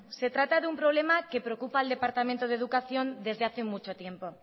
se trata de un problema que preocupa al departamento de educación desde hace mucho tiempo